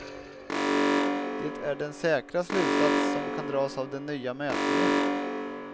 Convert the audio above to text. Det är den säkra slutsats, som kan dras av den nya mätningen.